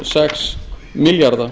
sex milljarða